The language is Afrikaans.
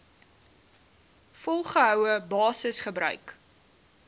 volgehoue basis gebruik